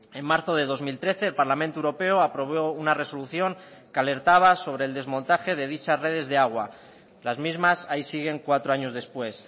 en marzo de dos mil trece el parlamento europeo aprobó una resolución que alertaba sobre el desmontaje de dichas redes de agua las mismas ahí siguen cuatro años después